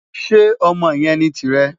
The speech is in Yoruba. Ṣe ọmọ yẹn ni tirẹ?